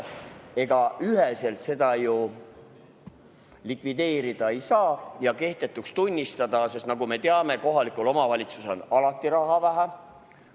Ega üheselt seda ju likvideerida ja kehtetuks tunnistada ei saa, sest nagu me teame, on kohalikul omavalitsusel alati raha vähe.